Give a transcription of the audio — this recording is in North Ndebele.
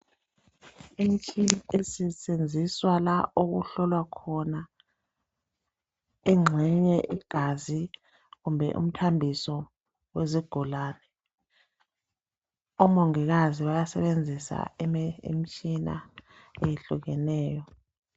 Imitshina esetshenziswa la okuhlolwa khona engxenye igazi kumbe umthambiso wezigulene. Omongikazi bayasebenzisa imitshina eyehlukeneyo.